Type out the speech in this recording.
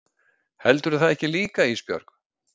Heldurðu það ekki líka Ísbjörg?